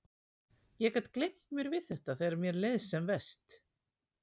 Ég gat gleymt mér við þetta þegar mér leið sem verst.